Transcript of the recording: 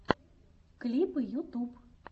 клипы ютуб